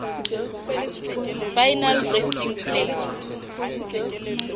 final resting place